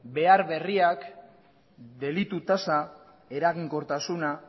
behar berriak delitu tasa eraginkortasuna